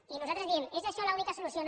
i nosaltres diem és això l’única solució no